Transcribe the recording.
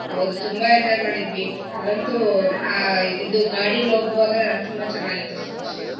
ಹೌದು ತುಂಬಾ enjoy ಮಾಡಿದ್ವಿ. ಅಲ್ಲಂತೂ ಆ ಇದು ಗಾಡಿಲ್ ಹೋಗೋವಾಗ ತುಂಬಾ ಚೆನ್ನಾಗಿತ್ತು